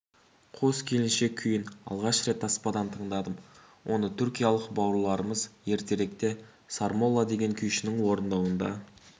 қос келіншек күйін алғаш рет таспадан тыңдадым оны түркиялық бауырларымыз ертеректе сармолла деген күйшінің орындауында